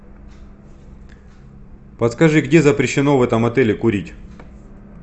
подскажи где запрещено в этом отеле курить